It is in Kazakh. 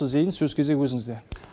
зейін сөз кезегі өзіңізде